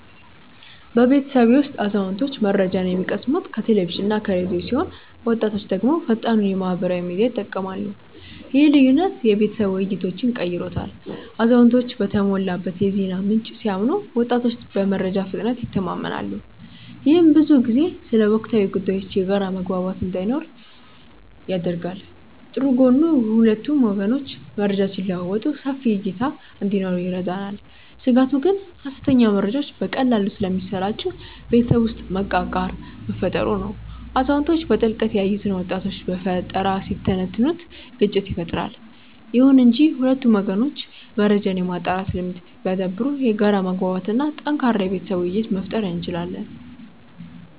በቤተሰቤ ውስጥ አዛውንቶች መረጃን የሚቀስሙት ከቴሌቪዥንና ከራዲዮ ሲሆን ወጣቶች ደግሞ ፈጣኑን የማህበራዊ ሚዲያ ይጠቀማሉ። ይህ ልዩነት የቤተሰብ ውይይቶችን ቀይሮታል አዛውንቶች በተሞላበት የዜና ምንጭ ሲያምኑ ወጣቶች በመረጃ ፍጥነት ይተማመናሉ። ይህም ብዙ ጊዜ ስለ ወቅታዊ ጉዳዮች የጋራ መግባባት እንዳይኖር ያደርጋል። ጥሩ ጎኑ ሁለቱም ወገኖች መረጃ ሲለዋወጡ ሰፊ እይታ እንዲኖረን ይረዳናል። ስጋቱ ግን ሐሰተኛ መረጃዎች በቀላሉ ስለሚሰራጩ ቤተሰብ ውስጥ መቃቃር መፈጠሩ ነው። አዛውንቶች በጥልቀት ያዩትን ወጣቶች በፈጠራ ሲተነትኑት ግጭት ይፈጠራል። ይሁን እንጂ ሁለቱም ወገኖች መረጃን የማጣራት ልምድ ቢያዳብሩ የጋራ መግባባት እና ጠንካራ የቤተሰብ ውይይት መፍጠር እንችላለን።